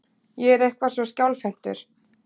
Ég er eitthvað svo skjálfhentur.